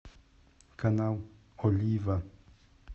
канал олива